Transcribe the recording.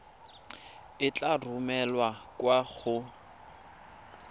e tla romelwa kwa go